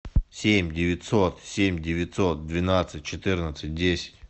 семь девятьсот семь девятьсот двенадцать четырнадцать десять